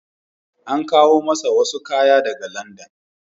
An kawo masa wasu kaya daga Landan.